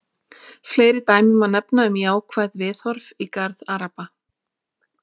Fleiri dæmi má nefna um jákvæð viðhorf í garð Araba.